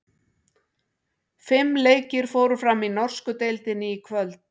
Fimm leikir fóru fram í norsku deildinni í kvöld.